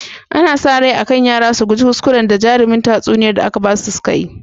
Ana sa rai akan yara su guji kuskuran da jarimin tatsuniyar da aka basu sukayi